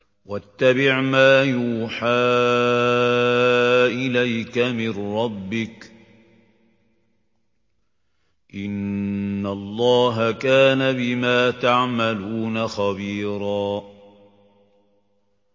وَاتَّبِعْ مَا يُوحَىٰ إِلَيْكَ مِن رَّبِّكَ ۚ إِنَّ اللَّهَ كَانَ بِمَا تَعْمَلُونَ خَبِيرًا